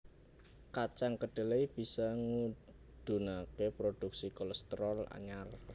Kacang kedelai bisa ngudunaké produksi kolésterol anyar